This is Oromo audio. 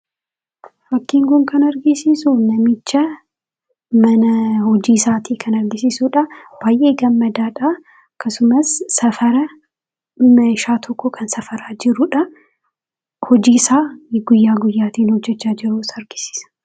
Fakkiin kun kan argisiisu, namichaa fi mana hojii isaatii kan argisiisudha. Namichis gammadaadha. Akkasumas, meeshaa tokko safaraa kan jirudha. Kunis, hojii isaa guyyaa haalaan raawwachuu isaa argisiisa.